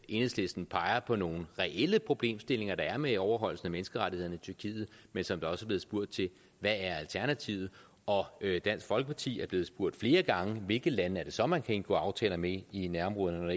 enhedslisten peger på nogle reelle problemstillinger der er med overholdelsen af menneskerettighederne i tyrkiet men som der også er blevet spurgt til hvad er alternativet og dansk folkeparti er blevet spurgt flere gange om hvilke lande det så er man kan indgå aftaler med i nærområderne når